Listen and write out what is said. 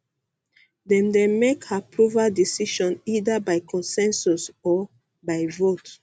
dem dey make um approval decision um either by consensus or by vote